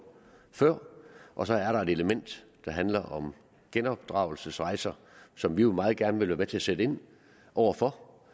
før og så er der et element der handler om genopdragelsesrejser som vi jo meget gerne vil være med til at sætte ind over for